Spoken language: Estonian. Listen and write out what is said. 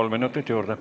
Kolm minutit juurde.